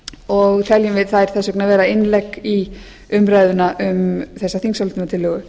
og teljum við þær þess vegna vera innlegg í umræðuna um þessa þingsályktunartillögu